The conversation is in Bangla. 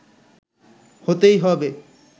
হতেই হবে